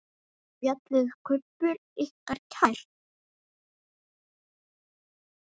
Er fjallið Kubbur ykkur kært?